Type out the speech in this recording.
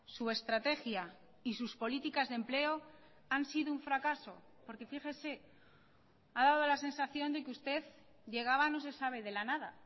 su estrategia y sus políticas de empleo han sido un fracaso porque fíjese ha dado la sensación de que usted llegaba no se sabe de la nada